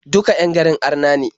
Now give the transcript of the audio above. Duka 'yan garin arna ne.